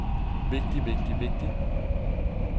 vigtigt vigtigt vigtigt